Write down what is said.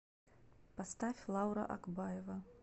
поставь лаура акбаева